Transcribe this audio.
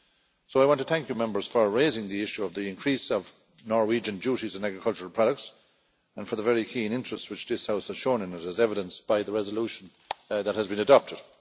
So I want to thank you Members for raising the issue of the increase of Norwegian duties on agricultural products, and for the very keen interest which this House has shown in it, as evidenced by the resolution that has been adopted.